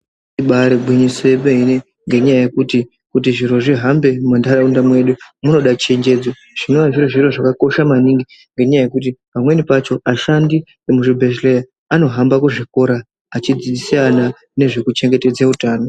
Ibari gwinyiso romeme nenyaya yekuti kuti zviro zvihambe muntaraunda medu munoda chenjedzo zvinova zviri zviro zvakakosha maningi nenyaya yekuti vashandi vemuzvibhedhlera anohamba kuzvikora achidzidzisa vana nezve kuchengetedze utano.